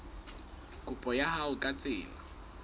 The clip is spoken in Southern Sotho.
kopo ya hao ka tsela